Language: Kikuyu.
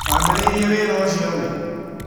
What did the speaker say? Wambĩrĩirie wĩra ũcio rĩ?